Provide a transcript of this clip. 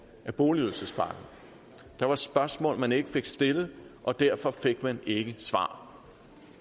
af boligydelsespakken der var spørgsmål man ikke fik stillet og derfor fik man ikke svar